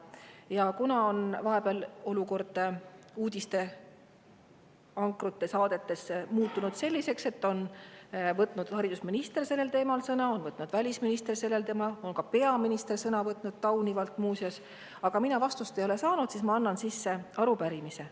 Ja kuna vahepeal on olukord uudistesaadetes muutunud selliseks, et sellel teemal on võtnud haridusminister ja ka välisminister sõna, ka peaminister on sõna võtnud – taunivalt, muuseas –, aga mina ei ole vastust saanud, siis ma annan sisse arupärimise.